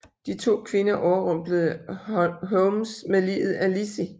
De to kvinder overrumplede Holmes med liget af Lizzie